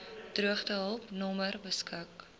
droogtehulp nommer beskik